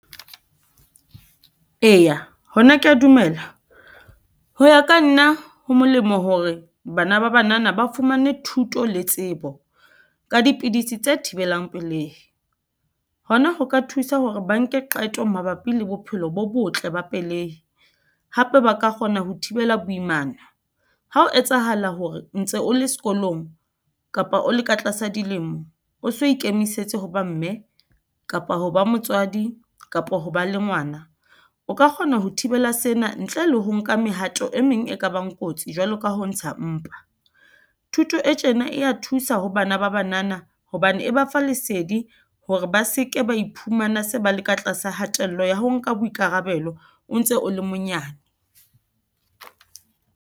Eya, hona kea dumela. Ho ya ka nna ho molemo hore bana ba banana ba fumane thuto le tsebo ka dipidisi tse thibelang pelehi. Hona ho ka thusa hore ba nke qeto mabapi le bophelo bo botle ba pelehi, hape ba ka kgona ho thibela boimana. Ha ho etsahala hore ntse o le sekolong kapa o le ka tlasa dilemo, o so ikemisetse hoba mme kapa ho ba motswadi kapa ho ba le ngwana. O ka kgona ho thibela sena ntle le ho nka mehato e meng e kabang kotsi jwalo ka ho ntsha mpa. Thuto e tjena e ya thusa sa ho bana ba banana hobane e ba fa lesedi, hore ba seke ba iphumana se ba le ka tlasa hatello ya ho nka boikarabelo o ntse o le monyane.